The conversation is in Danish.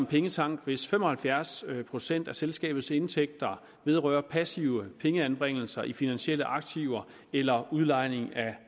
pengetank hvis fem og halvfjerds procent af selskabets indtægter vedrører passive pengeanbringelser i finansielle aktiver eller udlejning af